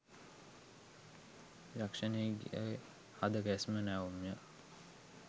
යක්ෂණියගේ හද ගැස්ම නැවුම් ය.